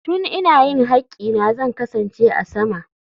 Tun ina yin haƙƙina zan kasance a sama.